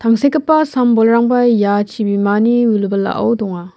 sam-bolrangba ia chibimani wilwilao donga.